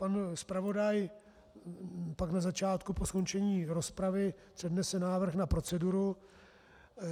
Pan zpravodaj pak na začátku po skončení rozpravy přednese návrh na proceduru.